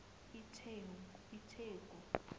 itheku